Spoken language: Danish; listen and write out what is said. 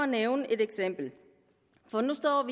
nævne et eksempel for nu står